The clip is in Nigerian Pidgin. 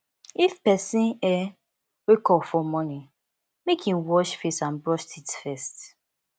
if person um wake up for morning make in wash face and brush teeth first